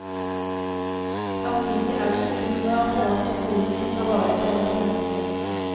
Samtidig er det ikke noe apparat i skolen som tar vare på en som menneske.